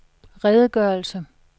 redegørelse